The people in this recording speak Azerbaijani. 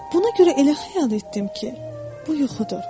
Buna görə elə xəyal etdim ki, bu yuxudur.